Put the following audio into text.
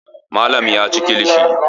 Malam ya ci kilishi.